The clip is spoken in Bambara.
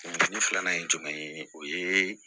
filanan ye jumɛn ye o ye